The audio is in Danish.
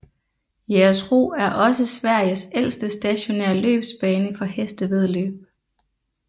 Jägersro er også Sveriges ældste stationære løbsbane for hestevæddeløb